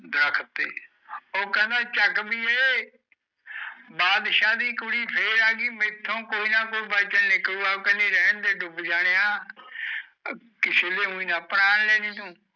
ਓ ਕੈਂਦਾ ਚੱਕ ਬੀਏ ਬਾਦਸ਼ਾ ਦੀ ਕੁੜੀ ਫਰ ਆਏਗੀ ਮੇਥੋ ਕੋਈ ਨਾ ਕੋਈ ਬਚਨ ਨਿਕਲੂ ਗਏ ਕੈਂਦੀ ਰੈਣ ਦੇ ਡੁੱਬ ਜਾਣਿਆ ਕਿਸੀ ਦੇ ਉਡਾ ਹੀ ਨਾ ਪੁਰਾਣ ਲੈਲੀ ਤੂੰ